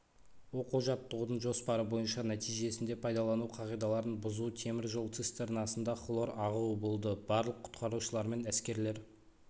оқу-жаттығудың жоспары бойынша нәтижесінде пайдалану қағидаларын бұзу темір жол цистернасында хлордың ағуы болды барлық құтқарушылармен әскерлер